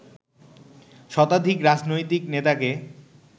শতাধিক রাজনৈতিক নেতাকে